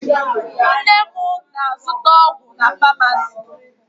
Nne m na-azụta ọgwụ na famasi.